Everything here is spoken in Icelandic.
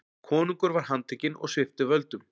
Konungur var handtekinn og sviptur völdum.